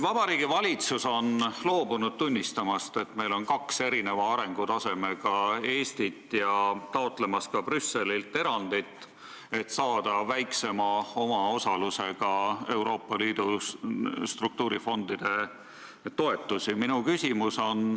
Vabariigi Valitsus on loobunud tunnistamast, et meil on kaks erineva arengutasemega Eestit, ja ta on loobunud taotlemast ka Brüsselilt erandit, et saada väiksema omaosalusega Euroopa Liidu struktuurifondide toetusi.